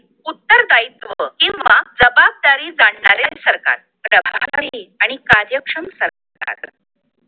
उत्तरदायित्व किंवा जबाबदारी जाणणाऱ्या सरकार आणि प्रभावी आणि कार्यक्षम सरकार